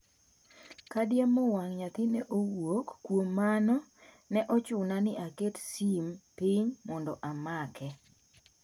"Ka diemo wang' naythi ne owuok, kuom mano ne ochuna ni aket sim piny mondo amake."